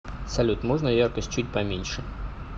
салют можно яркость чуть поменьше